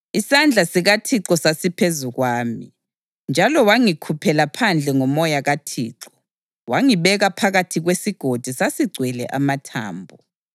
Isandla sikaThixo sasiphezu kwami, njalo wangikhuphela phandle ngoMoya kaThixo wangibeka phakathi kwesigodi; sasigcwele amathambo.